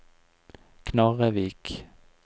Knarrevik